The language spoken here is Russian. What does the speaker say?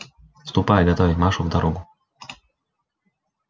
ступай готовить машу в дорогу